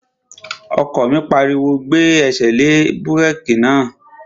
Ọkọ mi pariwo, "Gbé ẹsẹ̀ lé búrèkì náà!"